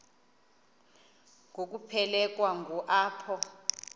ngokuphelekwa ngu apho